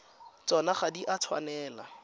tsona ga di a tshwanela